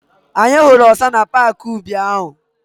Anyị hụrụ ọsa na paaki ubi ahụ.